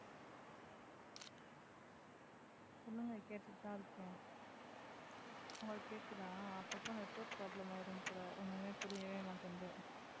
சொல்லுங்க கேட்டுட்டுதான் இருக்கேன் உங்களுக்கு கேக்குதா அப்பப்ப network problem ஆயிடும் போல ஒண்ணுமே புரியவே மாட்டேங்குது